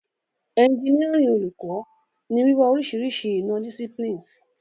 Engineering Oluko ni wiwa orisirisi ina- disciplines.